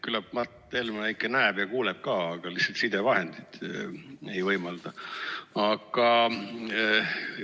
Küllap Mart Helme ikka näeb ja kuuleb ka, aga lihtsalt sidevahendid ei võimalda.